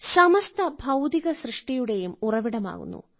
സമസ്ത ഭൌതിക സൃഷ്ടിയുടെയും ഉറവിടമാകുന്നു